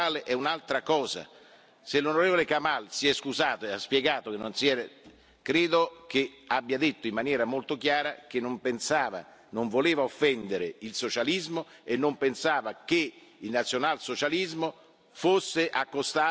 L'onorevole Kamall si è scusato e ha spiegato, credo che abbia detto in maniera molto chiara che non voleva offendere il socialismo e non pensava che il nazionalsocialismo fosse accostato al socialismo.